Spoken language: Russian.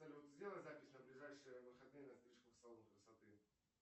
салют сделай запись на ближайшие выходные на стрижку в салон красоты